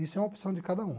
Isso é uma opção de cada um.